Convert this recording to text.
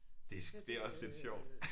Det det også lidt sjovt